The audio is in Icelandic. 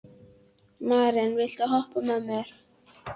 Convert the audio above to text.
Maren, viltu hoppa með mér?